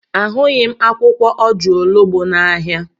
Ahụghị m akwụkwọ ojuologbo n'ahịa.